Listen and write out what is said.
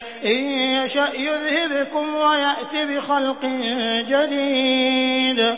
إِن يَشَأْ يُذْهِبْكُمْ وَيَأْتِ بِخَلْقٍ جَدِيدٍ